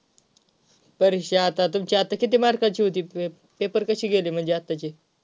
परीक्षा आता तुमची आता किती MARK ची होती पेपर कसे गेले म्हणजे आत्ताचे.